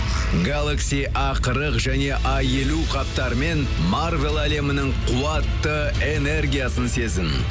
галакси а қырық және а елу қаптарымен марвел әлемінің қуатты энергиясын сезін